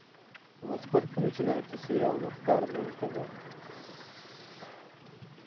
во сколько начинается сериал мухтар на нтв